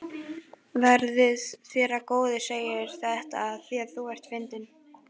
Verði þér að góðu Segir þetta afþvíað þú ert fyndinn.